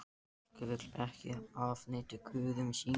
Fólkið vill ekki afneita guðum sínum.